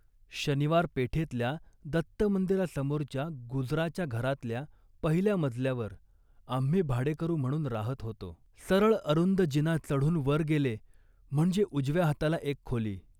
शनिवार पेठेतल्या दत्तमंदिरासमोरच्या गुजराच्या घरातल्या पहिल्या मजल्यावर आम्ही भाडेकरू म्हणून राहत होतो. सरळ अरुंद जिना चढून वर गेले म्हणजे उजव्या हाताला एक खोली